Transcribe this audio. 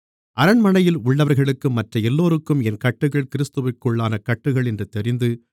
அரண்மனையில் உள்ளவர்களுக்கும் மற்ற எல்லோருக்கும் என் கட்டுகள் கிறிஸ்துவிற்குள்ளான கட்டுகள் என்று தெரிந்து